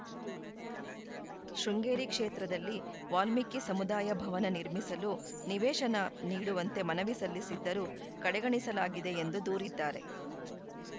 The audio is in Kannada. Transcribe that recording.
ಶೃಂಗೇರಿ ಕ್ಷೇತ್ರದಲ್ಲಿ ವಾಲ್ಮೀಕಿ ಸಮುದಾಯ ಭವನ ನಿರ್ಮಿಸಲು ನಿವೇಶನ ನೀಡುವಂತೆ ಮನವಿ ಸಲ್ಲಿಸಿದ್ದರೂ ಕಡೆಗಣಿಸಲಾಗಿದೆ ಎಂದು ದೂರಿದ್ದಾರೆ